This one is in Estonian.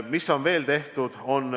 Mida on veel tehtud?